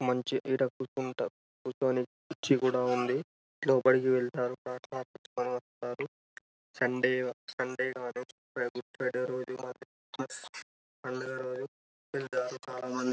మంచిగా ఈడ కుకుంటారు కూర్చొని కూర్చి కూడా ఉందిలోపలి వెళ్తారు సండే సండే ఆ రోజు గుడ్ ఫ్రైడే ఆ రోజు పండగ రోజు వెళ్లారు చాల మంది.